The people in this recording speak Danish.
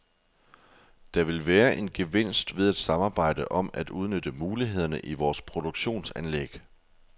Der vil være en gevinst ved at samarbejde om at udnytte mulighederne i vores produktionsanlæg.